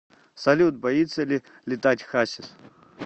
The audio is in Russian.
салют боится ли летать хасис